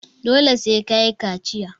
Dole sai ka yi kaciya.